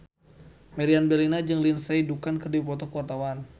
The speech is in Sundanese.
Meriam Bellina jeung Lindsay Ducan keur dipoto ku wartawan